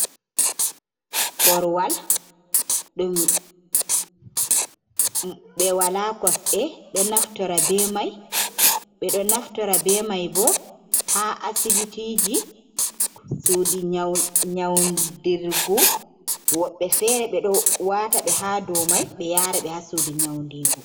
Korwal ɗum be wala kosɗe ɗo naftorta be mai. Beɗo Naftira be mai ha asibitiji suɗi nyaunɗirgu. Woɓbe fere bo ɗo wata ɓe ha ɗow mai. Be yara ɓe ha suɗi nyaunɗigo.